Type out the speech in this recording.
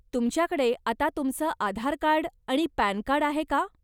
तुमच्याकडे आता तुमचं आधारकार्ड आणि पॅनकार्ड आहे का?